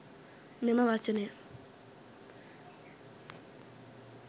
මෙම වචනය